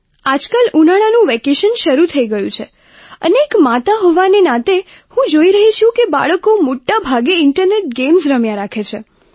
આજકાલ ઉનાળાનું વેકેશન શરૂ થઈ ગયું છે અને એક માતા હોવાના નાતે હું જોઈ રહી છું કે બાળકો મોટા ભાગે ઇન્ટરનેટ ગેમ્સ રમ્યા રાખે છે